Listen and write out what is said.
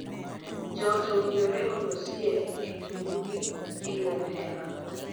Joot owinjore olosie e tungnigi e yor hera.